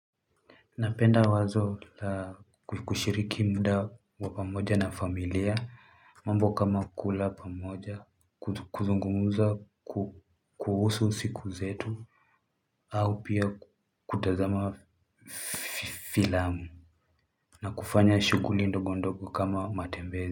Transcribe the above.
Napenda wazo la kushiriki mda wa pamoja na familia mambo kama kula pamoja kuzungumuza kuhusu siku zetu au pia kutazama filamu na kufanya shuguli ndogondogo kama matembezi.